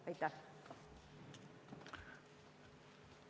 Aitäh!